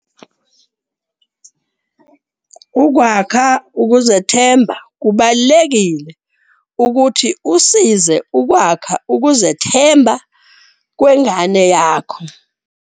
Ukwakha ukuzethemba. Kubalulekile ukuthi usize ukwakha ukuzethemba kwengane yakho.